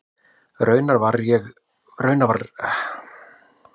Raunar var líka reiknað með að konur kynnu að skíra.